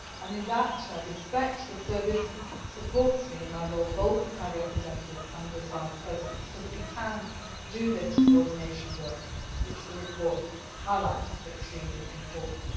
In that, I respect the service which supports me in my role, both as High Representative and as Vice President, so that we can do this coordination work which the report highlights as extremely important.